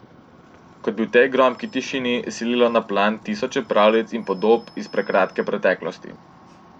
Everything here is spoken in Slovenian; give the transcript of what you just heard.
Kot bi v tej gromki tišini sililo na plan tisoče pravljic in podob iz prekratke preteklosti.